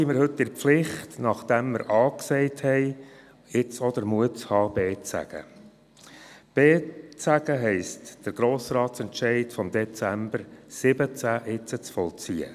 B zu sagen bedeutet, den Entscheid des Grossen Rates vom Dezember 2017 zu vollziehen.